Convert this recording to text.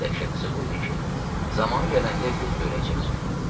Ən dəhşətlisi bu idi ki, zamanı gələndə Lük də öləcəkdi.